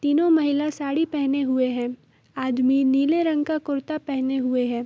तीनों महिला साड़ी पेहने हुए हैं आदमी ने नीला रंग का कुर्ता पेहने हुए है।